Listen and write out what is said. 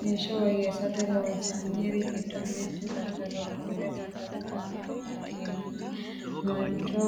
heeshsho woyyeessate loonsaniri giddo mittu daddaloho konne daddalu dana maati yinanni? mancho